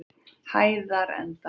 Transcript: Hæðarenda